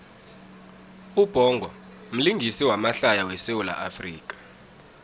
ubhongo mlingisi wamahlaya we sawula afrika